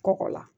Kɔkɔ la